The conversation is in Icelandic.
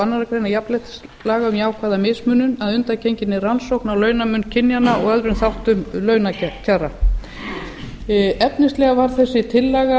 aðra grein jafnréttislaga um jákvæða mismunun að undangenginni rannsókn á launamun kynjanna og öðrum þáttum launakjara efnislega var þessi tillaga